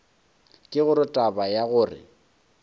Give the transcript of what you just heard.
ke gore taba ya gore